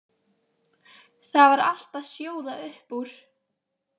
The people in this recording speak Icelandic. Það var allt að sjóða upp úr.